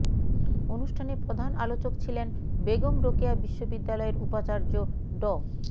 অনুষ্ঠানে প্রধান আলোচক ছিলেন বেগম রোকেয়া বিশ্ববিদ্যালয়ের উপাচার্য ড